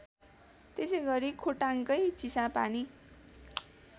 त्यसैगरी खोटाङकै चिसापानी